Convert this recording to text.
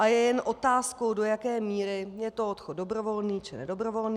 A je jen otázkou, do jaké míry je to odchod dobrovolný, či nedobrovolný.